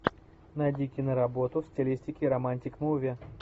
найди киноработу в стилистике романтик муви